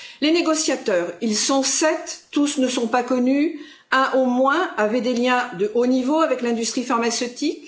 Les négociateurs ils sont sept, tous ne sont pas connus, et un au moins avait des liens de haut niveau avec l'industrie pharmaceutique.